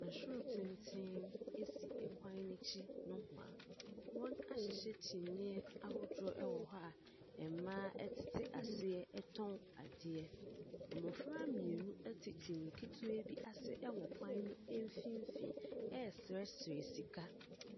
Nhwiren tenten si kwan no akyi nohoa. Wɔahyehyɛ kyiniiɛahodoɔ wɔ hɔ a mmaa tete aseɛ tɔn adeɛ. Mmɔfra mmienu te kyiniiɛ ketewa bi ase wɔ kwan no mfimfini reserɛserɛ sika.